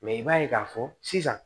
Mɛ i b'a ye k'a fɔ sisan